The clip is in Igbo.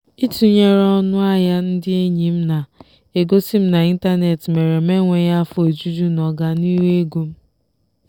itụnyere ọnụ ahịa ndị enyi m na-egosi m n'ịntanetị mere m enweghị afọ ojuju n'ọganihu ego m.